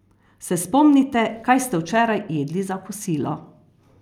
Se spomnite, kaj ste včeraj jedli za kosilo?